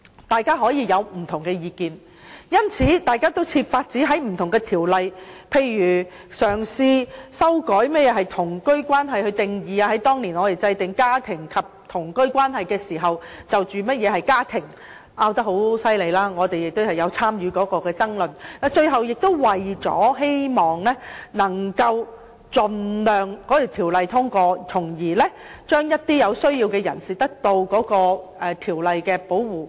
大家可以有不同意見，因此，大家均設法在不同條例中提供一些保障，例如嘗試修改何謂同居關係的定義，而當年我們在制定與家庭及同居關係有關的法例時，大家就家庭的定義爭拗得很厲害，我們亦有參與有關的爭論，最終大家也是希望盡量令該條例通過，使有需要的人士得到條例的保護。